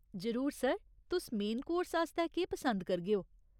जरूर, सर। तुस main course आस्तै केह् पसंद करगेओ ?